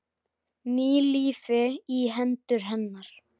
Ný lífi í hendur hennar.